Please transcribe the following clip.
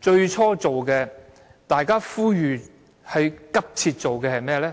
最初呼籲大家急切做的是甚麼？